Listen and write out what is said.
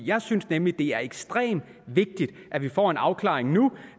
jeg synes nemlig det er ekstremt vigtigt at vi får en afklaring nu